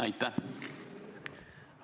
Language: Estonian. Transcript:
Aitäh!